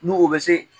N'u o bɛ se